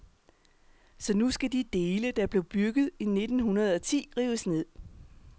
Så nu skal de dele, der blev bygget i nitten hundrede og ti, rives ned.